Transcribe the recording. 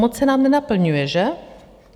Moc se nám nenaplňuje, že?